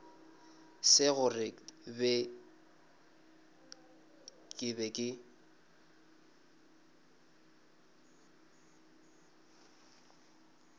se gore ke be ke